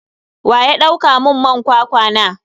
Waya dauka mun man kwakwa na?